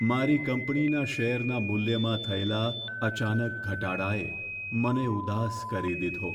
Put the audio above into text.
મારી કંપનીના શેરના મૂલ્યમાં થયેલા અચાનક ઘટાડાએ મને ઉદાસ કરી દીધો.